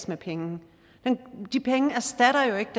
med penge de penge erstatter jo ikke